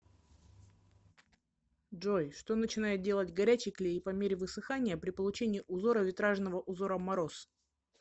джой что начинает делать горячий клей по мере высыхания при получении узора витражного узора мороз